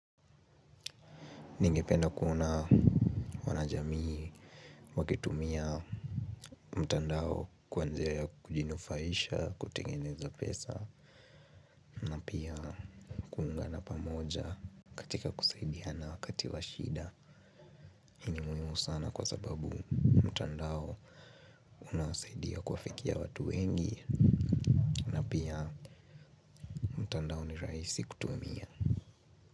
Ningependa kuona wanajamii, wakitumia mtandao kwa njia ya kujinufaisha, kutengeneza pesa. Na pia kuungana pamoja katika kusaidiana wakati wa shida. Hii ni muhiimu sana kwa sababu mtandao unasaidia kuwafikia watu wengi. Na pia mtandao ni rahisi kutumia.